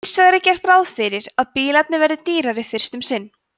hins vegar er gert ráð fyrir að bílarnir verði dýrari fyrst um sinn